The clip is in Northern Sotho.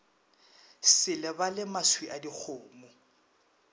se lebale maswi a dikgomo